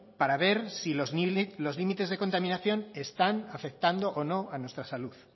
para ver si los límites de contaminación están afectando o no a nuestra salud